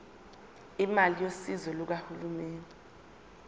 imali yosizo lukahulumeni